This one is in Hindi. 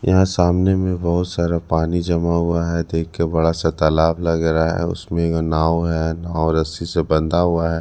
यहां सामने में बहोत सारा पानी जमा हुआ है देखके बड़ा सा तालाब लग रहा है उसमें एक नाव है नाव रस्सी से बंधा हुआ है।